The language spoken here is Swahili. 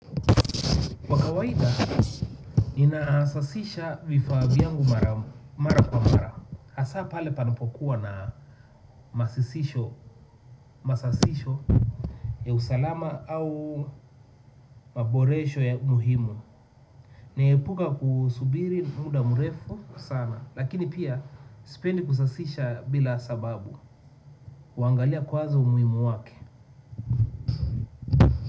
Kawaida, ninaasasisha vifaa vyangu mara kwa mara. Hasa pale panapokuwa na masasisho ya usalama au maboresho ya umuhimu. Naepuka kusubiri muda mrefu sana, lakini pia sipendi kusasisha bila sababu. Huangalia kwanza umuhimu wake.